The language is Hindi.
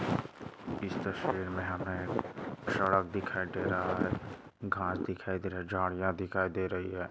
इस तस्वीर मे हमें सड़क दिखाई दे रहा है घास दिखाई दे रहा है झाड़ियाँ दिखाई दे रही है।